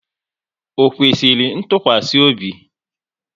Ọ kwesịrị ntụkwasị obi?